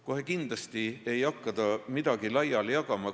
Kohe kindlasti ei hakka ta midagi laiali jagama.